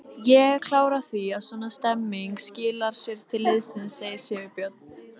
Ég er klár á því að svona stemning skilar sér til liðsins, segir Sigurbjörn.